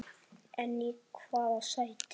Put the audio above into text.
En í hvaða sæti?